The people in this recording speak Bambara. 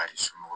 A yi somɔgɔw